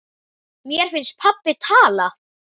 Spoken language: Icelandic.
Mér finnst pabbi tala.